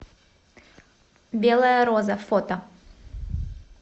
белая роза фото